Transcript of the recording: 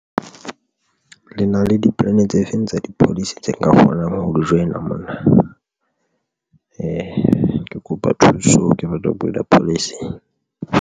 Le na le dipolane tse feng tsa di-policy tse nka kgonang haholo join-a mona ke kopa thuso ke batla ho bula policy.